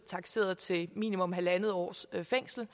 takseret til minimum en en halv års fængsel og